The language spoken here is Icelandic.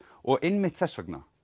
og einmitt þess vegna